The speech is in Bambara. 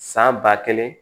San ba kelen